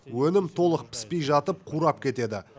өнім толық піспей жатып қурап кетеді